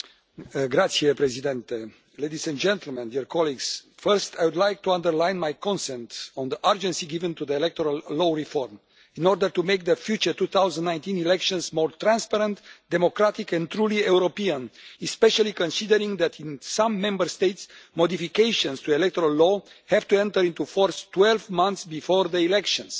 Mr President, ladies and gentlemen, dear colleagues, first I would like to underline my consent on the urgency given to the electoral law reform in order to make the future 2019 elections more transparent, democratic and truly European, especially considering that in some Member States, modifications to electoral law have to enter into force 12 months before the elections.